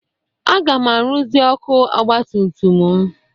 Aga m arụzi ọkụ ọgbatutum m.